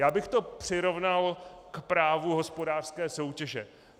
Já bych to přirovnal k právu hospodářské soutěže.